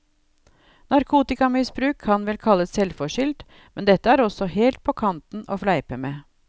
Narkotikamisbruk kan vel kalles selvforskyldt, men dette er også helt på kanten å fleipe med.